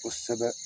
Kosɛbɛ